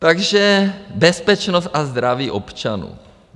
Takže bezpečnost a zdraví občanů.